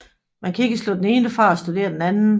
Man kan ikke slå den ene fra og studere den anden